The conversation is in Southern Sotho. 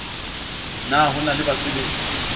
na ho na le basabetsi